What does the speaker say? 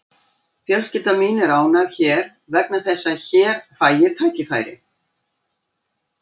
Fjölskylda mín er ánægð hér vegna þess að hér fæ ég tækifæri.